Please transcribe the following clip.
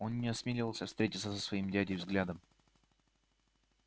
он не осмеливался встретиться со своим дядей взглядом